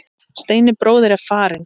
Steini bróðir er farinn.